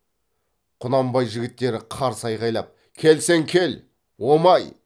құнанбай жігіттері қарсы айғайлап келсең кел омай